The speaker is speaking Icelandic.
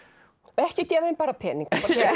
ekki gefa þeim bara pening